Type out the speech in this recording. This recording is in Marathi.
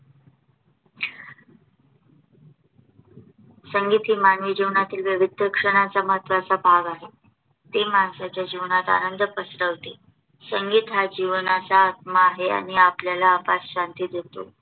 संगीत ही मानवी जीवनातील विविध क्षणांचा महत्वाचा भाग आहे. ते मानसाच्या जीवनाला आनंद पसरवते. संगीत हा जीवनाचा आत्मा आहे आणि आपल्याला अफाट शांती देतो.